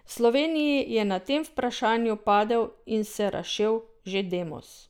V Sloveniji je na tem vprašanju padel in se razšel že Demos.